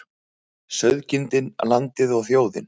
Sauðkindin, landið og þjóðin.